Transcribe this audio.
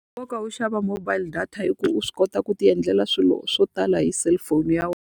Nkoka wo xava mobile data i ku u swi kota ku ti endlela swilo swo tala hi cellphone ya wena.